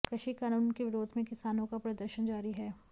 कृषि कानून के विरोध में किसानों का प्रदर्शन जारी है